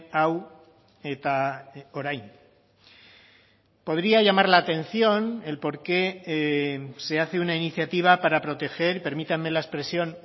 hau eta orain podría llamar la atención el por qué se hace una iniciativa para proteger permítanme la expresión